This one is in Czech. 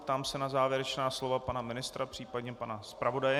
Ptám se na závěrečná slova pana ministra, případně pana zpravodaje.